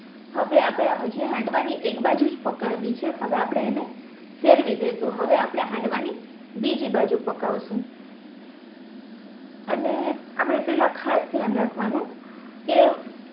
હવે આપણે હજી હાંડવા ની એક બાજુ જ પકાવી છે હવે આપણે એને ફેરવી દેસુ હવે આપણે હાંડવા ની બીજી બાજુ પકાવશુ અને આપણે પેહલા ખાસ ધ્યાન રાખવાનું કે